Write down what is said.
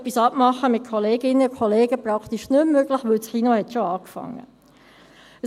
Etwas abmachen mit Kolleginnen, Kollegen ist praktisch nicht mehr möglich, weil das Kino schon angefangen hat.